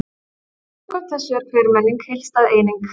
Samkvæmt þessu er hver menning heildstæð eining.